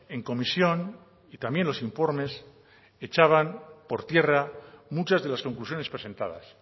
en comisión y también los informes echaban por tierra muchas de las conclusiones presentadas